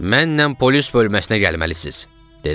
Mənlə polis bölməsinə gəlməlisiz" dedi.